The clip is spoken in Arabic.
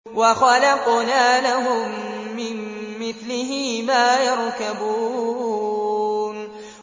وَخَلَقْنَا لَهُم مِّن مِّثْلِهِ مَا يَرْكَبُونَ